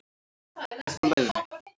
Upp úr lægðinni